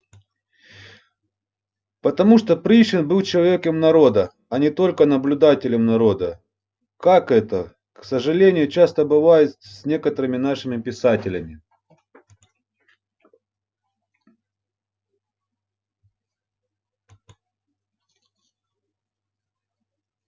потому что пришвин был человеком народа а не только наблюдателем народа как это к сожалению часто бывает с некоторыми нашими писателями